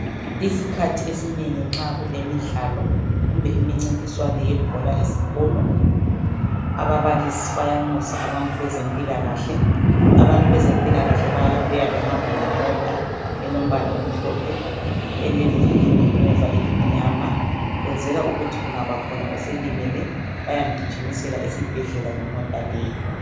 Isikhathi esinengi nxa kulemidlalo, kumbe imincintiswano yebhola esikolo. Ababalisi bayanxusa abantu bezempilakahle. Abezempilakahle beza behamba ngemota eombala omhlophe. Elevili ngemuva elimnyama. Bayabe besenzela ukuthi kungaba lolimalayo, bamgijimisele esibhedlela, ngemota leyo.